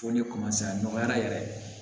Fo ne a nɔgɔyara yɛrɛ